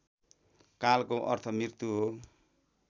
कालको अर्थ मृत्यु हो